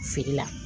Feere la